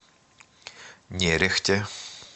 нерехте